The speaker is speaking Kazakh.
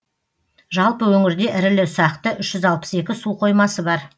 жалпы өңірде ірілі ұсақты үш жүз алпыс екі су қоймасы бар